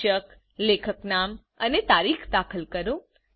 શીર્ષકલેખકનામ અને તારીખ દાખલ કરો